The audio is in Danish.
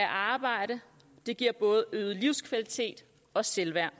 arbejde det giver både øget livskvalitet og selvværd